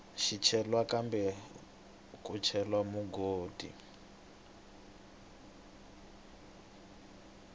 swicelwa kumbe ku cela mugodi